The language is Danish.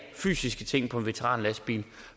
fysiske ting på en veteranlastbil